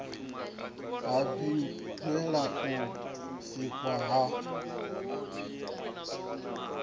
ha zwibveledzwa u sikiwa ha